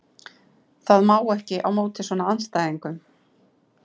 Það má ekki á móti svona andstæðingum.